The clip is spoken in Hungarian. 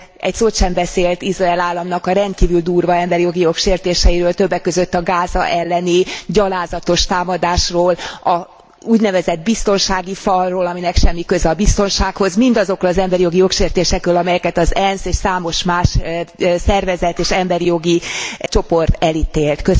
egy szót sem beszélt Izrael államnak a rendkívül durva emberijogi jogsértéseiről, többek között a Gáza elleni gyalázatos támadásról, az úgynevezett biztonsági falról, aminek semmi köze a biztonsághoz, mindazokról az emberijogi jogsértésekről, amelyeket az ENSZ és számos más szervezet és emberijogi csoport elítélt.